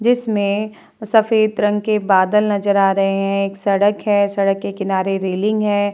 जिसमें सफ़ेद रंग के बादल नजर आ रहे है एक सड़क है सड़क के किनारे रेलिंग है।